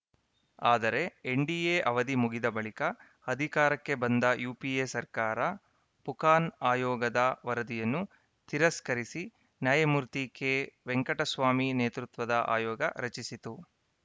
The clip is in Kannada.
ಆದರೆ ಎನ್‌ಡಿಎ ಅವಧಿ ಮುಗಿದ ಬಳಿಕ ಅಧಿಕಾರಕ್ಕೆ ಬಂದ ಯುಪಿಎ ಸರ್ಕಾರ ಫುಕಾನ್‌ ಆಯೋಗದ ವರದಿಯನ್ನು ತಿರಸ್ಕರಿಸಿ ನ್ಯಾಯಮೂರ್ತಿ ಕೆ ವೆಂಕಟಸ್ವಾಮಿ ನೇತೃತ್ವದ ಆಯೋಗ ರಚಿಸಿತು